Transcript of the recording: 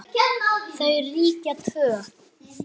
Þau ríkja tvö.